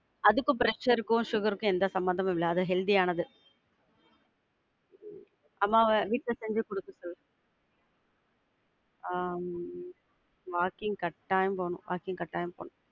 அதுக்கு pressure க்கும் sugar க்கும் எந்த சம்பந்தமும் இல்ல. அது healthy யானது. அம்மாவ வீட்ல செஞ்சி குடுக்க சொல்லு. ஆஹ் walking கட்டாயம் போனும். Walking கட்டாயம் போனும்.